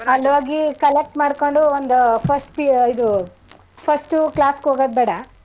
ಅಲ್ಲ್ ಹೋಗಿ collect ಮಾಡ್ಕೊಂಡು ಒಂದು first PU ಇದು first ಉ class ಗ್ ಹೋಗದ್ ಬೇಡ.